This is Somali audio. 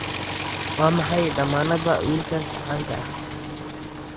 waa maxay dammaanadda wiilkaas caanka ah